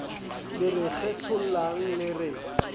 le re kgethollang le re